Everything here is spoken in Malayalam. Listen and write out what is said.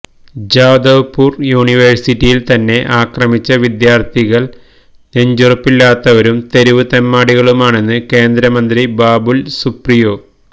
ജാദവ്പൂര് യൂണിവേഴ്സിറ്റിയില് തന്നെ അക്രമിച്ച വിദ്യാര്ത്ഥികള് നെഞ്ചുറപ്പില്ലാത്തവരും തെരുവ് തെമ്മാടികളുമാണെന്ന് കേന്ദ്രമന്ത്രി ബാബുല് സുപ്രിയോ